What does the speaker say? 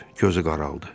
Gözü qaraldı.